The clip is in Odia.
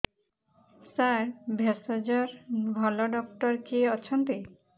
ସାର ଭେଷଜର ଭଲ ଡକ୍ଟର କିଏ ଅଛନ୍ତି